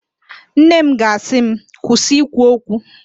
Nne m ga-asị m, kwụsị ikwu okwu